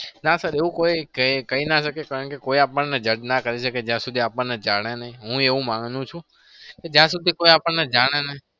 ના sir એવું કોઈ કહી ના શકે કારણકે કોઈ આપણને judge ના કરી શકે જ્યાં સુધી આપણને જાણે નહી હું એવું માનું છું કે જ્યાં સુધી આપણને જાણે નહીં.